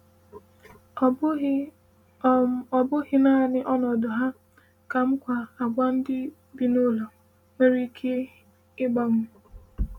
Ọ um bụghị Ọ um bụghị naanị ọnọdụ ha, kamakwa àgwà ndị bi n’ụlọ nwere ike ịgbanwe. um